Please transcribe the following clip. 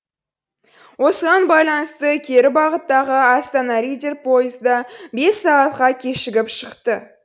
осыған байланысты кері бағыттағы астана риддер пойызы да бес сағатқа кешігіп шықты